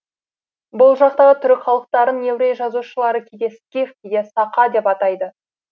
бұл жақтағы түрік халықтарын еврей жазушылары кейде скиф кейде сақа деп айтады